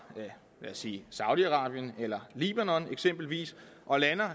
lad os sige saudi arabien eller libanon eksempelvis og lander